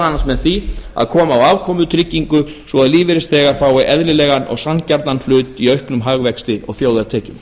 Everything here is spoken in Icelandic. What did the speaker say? annars með því að koma á afkomutryggingu svo að lífeyrisþegar fái eðlilegan og sanngjarnan hlut í auknum hagvexti og þjóðartekjum